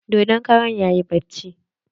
Dodon karan yayi bacci.